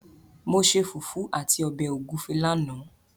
Mo ṣe fùfú àti ọbẹ̀ ògúfẹ lánàá.